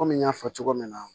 Kɔmi n y'a fɔ cogo min na